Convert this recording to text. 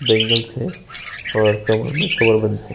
Bangles है और कमर में कमर बंद है।